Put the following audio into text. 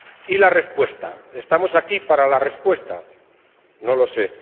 ¿Y la respuesta? ¿Estamos aquí para la respuesta? No lo sé.